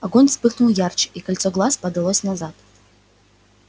огонь вспыхнул ярче и кольцо глаз подалось назад